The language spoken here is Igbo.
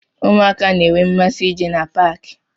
Ụmụaka n'enwe mmasị ije na paaki.